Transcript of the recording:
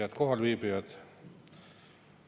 Head kohalviibijad!